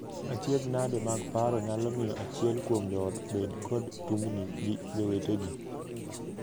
Achiedhnade mag paro nyalo miyo achiel kuom joot bed kod tungni gi jowetegi.